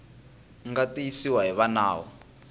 nga tiyisiwa hi va nawu